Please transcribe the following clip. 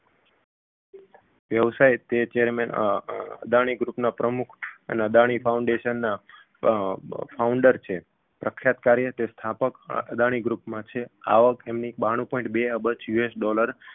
વ્યવસાયે તે chairman અમ Adani group ના પ્રમુખ અને અદાણી foundation ના અમ founder છે રક્ષાત કાર્ય તે સ્થાપક અ અદાણી group માં છે આવક તેમની બાણુ point બે અબજ USdollar